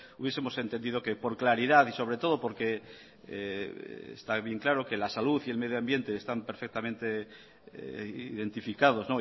hubiesemos entendido que por claridad y sobre todo porque está bien claro que la salud y el medioambiente están perfectamente identificados